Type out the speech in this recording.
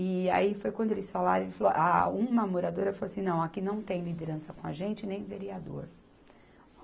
E aí foi quando eles falaram, e falou, ah uma moradora falou assim, não, aqui não tem liderança com a gente, nem vereador.